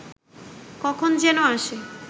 কখন যেন আসে